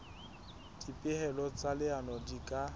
dipehelo tsa leano di ka